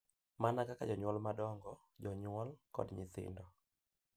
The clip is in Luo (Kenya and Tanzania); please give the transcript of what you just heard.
Mana kaka jonyuol madongo, jonyuol, kod nyithindo,